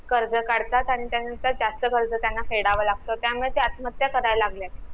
कर्ज काढतात आणि त्यांचा जास्त कर्ज त्यांना फेडावं लागतं त्यामुळे ते ते आत्महत्या करायला लागलेत